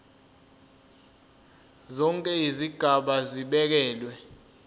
zonke izigaba zibekelwe